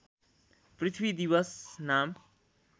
पृथ्वी दिवस नाम